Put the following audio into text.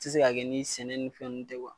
Tɛ se ka kɛ ni sɛnɛ ni fɛn ninnu tɛ kuwa.